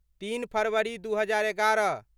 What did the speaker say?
तीन फरवरी दू हजार एगारह